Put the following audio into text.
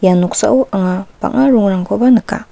noksao anga bang·a rongrangkoba nika.